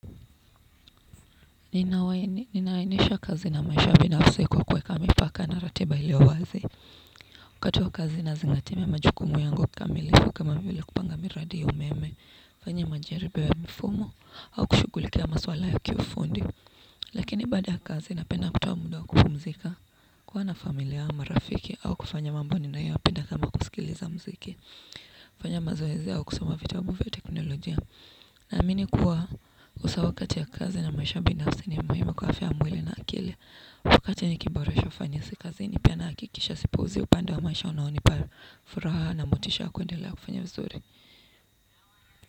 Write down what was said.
Ninaainisha kazi na maisha binafsi kwa kuweka mipaka na ratiba iliowazi. Wakati wa kazi nazingatia majukumu yangu kama kamili kama vile kupanga miradi umeme, kufanya majaribiwio ya mifumo, au kushugulikia maswala ya kiufundi. Lakini baada ya kazi napenda kutoa muda wa kupumzika, kuwa na familia au marafiki au kufanya mambo ninayoyapenda kama kusikiliza mziki, kufanya mazoezi au kusoma vitabu vya teknolojia. Naamini kuwa usawa kati ya kazi na maisha binafsi ni muhimu kwa afya ya mwili na akili. Wakati nikiboresha ufanisi kazini pia nahakikisha sipuuzi upande wa maisha unaonipa furaha na motisha kuendelea kufanya vizuri.